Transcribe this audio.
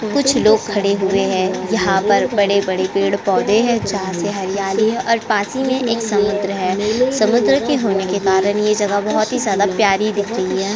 कुछ लोग खड़े हुए है। यहाँ पर बड़े-बड़े पेड़-पौधे हैं। जहाँ से हरियाली है और पास ही में एक समुद्र है। समुद्र के होने के कारण ये जगह बोहोत ही ज्यादा प्यारी दिख रही है।